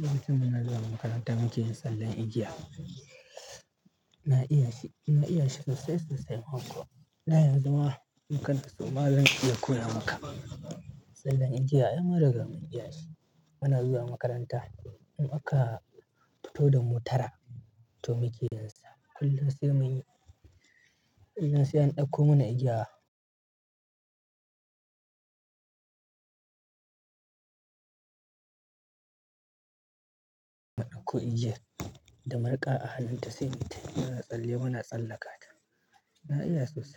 Lokacin muna zuwa makaranta muke yin sallan eja. Na iya shi, na iya shi sosai-sosai ma kuwaa. Na yanzu ma, mu kan so ma zan iya koya maka. Tsallen igiya ai mun riga mun iya shi. Muna zuwa makaranta muka fito da mu tara, toh muke yinsa, kullum sai an ɗauko mana igiya. Ɗauko igiya da marƙa a hannunta sai muita yo, muna tsalle muna tsallaka ta. Na iya sosai.